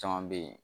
Caman bɛ yen